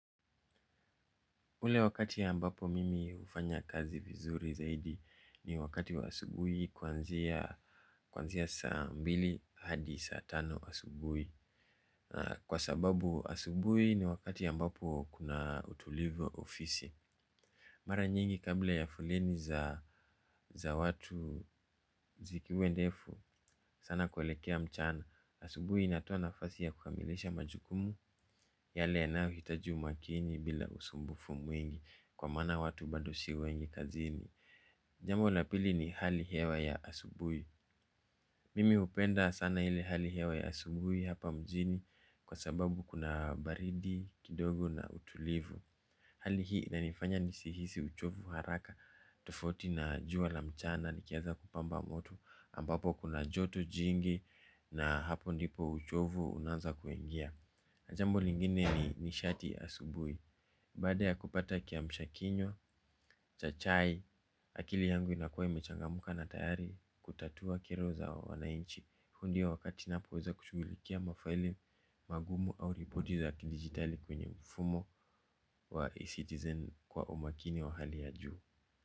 Ule wakati ambapo mimi hufanya kazi vizuri zaidi ni wakati wa asubuhi kuanzia kwanzia saa mbili hadi saa tano asubuhi. Kwa sababu asubuhi ni wakati ambapo kuna utulivu ofisi. Mara nyingi kabla ya foleni za watu zikuwe ndefu sana kuelekea mchana. Asubuhi inatoa nafasi ya kukamilisha majukumu yale yanayohitaji makini bila usumbufu mwingi. Kwa maana watu bado si wengi kazini. Jambo la pili ni hali hewa ya asubuhi. Mimi hupenda sana ile hali hewa ya asubui hapa mjini. Kwa sababu kuna baridi, kidogo na utulivu. Hali hii inanifanya nisihisi uchovu haraka. Tofauti na jua la mchana likiiaza kupamba moto ambapo kuna joto jingi na hapo ndipo uchovu unaanza kuingia. Jambo lingine ni nishati asubui. Baada ya kupata kiamsha kinywa, cha chai, akili yangu inakuwa imechangamka na tayari kutatua kiroza wa wanainchi huu ndio wakati ninapo weza kushughulikia mafaili magumu au ripoti za kidigitali kwenye mfumo wa e-citizen kwa umakini wa hali ya juu.